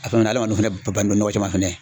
adamadenw fɛnɛ bannen bɛ nɔgɔ cɛ ma fɛnɛ.